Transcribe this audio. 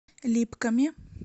липками